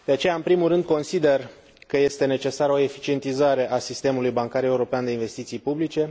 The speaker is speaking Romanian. De aceea, în primul rând, consider că este necesară o eficientizare a sistemului bancar european de investiții publice.